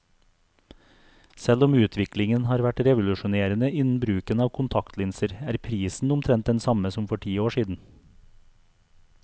Selv om utviklingen har vært revolusjonerende innen bruken av kontaktlinser, er prisen omtrent den samme som for ti år siden.